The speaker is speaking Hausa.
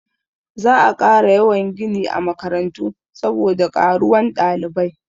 Za a ƙara yawan gini a makarantu saboda ƙaruwan ɗalibai.